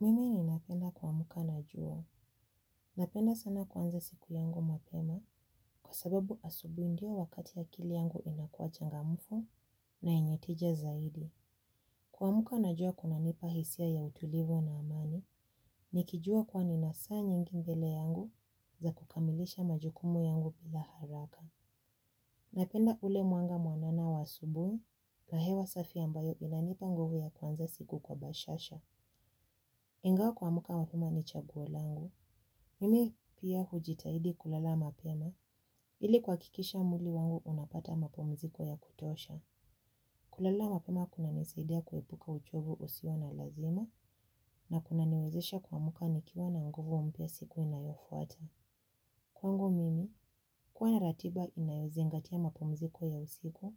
Mimi ninapenda kuamuka machweo. Napenda sana kuanza siku yangu mapema kwa sababu asubuhi ndio wakati akili yangu inakuachangamfu na yenye tija zaidi. Kuamuka najua kunanipa hisia ya utulivu na amani nikijua kuwa nina saa nyingi mbele yangu za kukamilisha majukumu yangu bila haraka. Napenda ule mwanga mwanana wa asubuhi na hewa safi ambayo inanipa nguvu ya kuanza siku kwa bashasha. Ingawa kuamuka mapema ni chaguo langu, mimi pia hujitahidi kulala mapema, ili kuhakikisha mwili wangu unapata mapumziko ya kutosha. Kulala mapema kunanisaidia kuepuka uchovu usio na lazima na kunaniwezesha kuamuka nikiwa na nguvu mpya siku inayofuata. Kwangu mimi, kuwa na ratiba inayozingatia mapumziko ya usiku